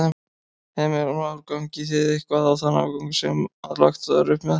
Heimir Már: Gangið þið eitthvað á þann afgang sem að lagt var upp með?